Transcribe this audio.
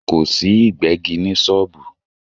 Kò sí Ìgbẹ́gi ní sọ́ọ̀bù